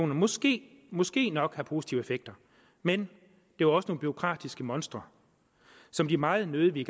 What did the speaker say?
måske måske nok har positive effekter men det var også nogle bureaukratiske monstre som de meget nødig